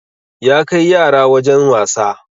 Ya kai yara wajen wasa